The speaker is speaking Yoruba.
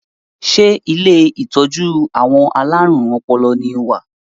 Ṣé ilé ìtọ́jú àwọn alárùn ọpọlọ ni o wà?